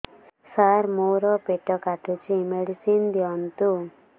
ସାର ମୋର ପେଟ କାଟୁଚି ମେଡିସିନ ଦିଆଉନ୍ତୁ